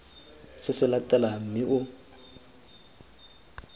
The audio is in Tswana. se se latelang mme o